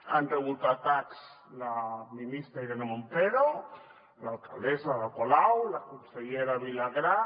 han rebut atacs la ministra irene montero l’alcaldessa ada colau la consellera vilagrà